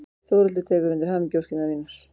Þórhildur tekur undir hamingjuóskir mínar.